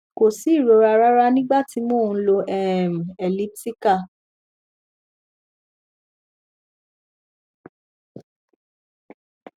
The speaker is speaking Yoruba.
ko si irora rara nigba ti mo n lò um elliptical